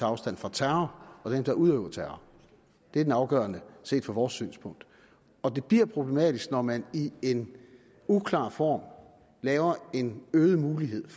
afstand fra terror og dem der udøver terror det er det afgørende set fra vores synspunkt det bliver problematisk når man i en uklar form laver en øget mulighed